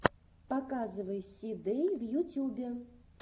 показывай си дэй в ютюбе